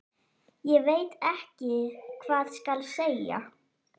Ég veit ekki hvað skal segja.